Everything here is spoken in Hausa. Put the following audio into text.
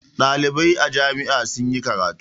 Ɗalibai a jami'a sun yi karatu.